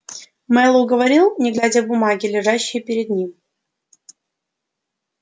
мэллоу говорил не глядя в бумаги лежащие перед ним